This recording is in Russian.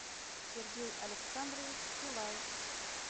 сергей александрович силаев